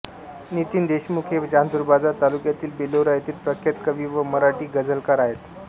नितीन देशमुख हे चांदूरबाजार तालुक्यातील बेलोरा येथील प्रख्यात कवी व मराठी गझलकार आहेत